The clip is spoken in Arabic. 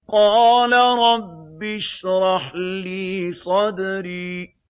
قَالَ رَبِّ اشْرَحْ لِي صَدْرِي